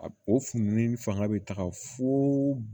A o funtɛni fanga bɛ taga fo